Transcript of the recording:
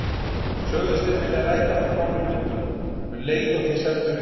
Sögðust þeir vilja ræða þetta mál í Lundúnum, um leið og þeir semdu við